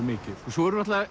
mikið svo eru náttúrulega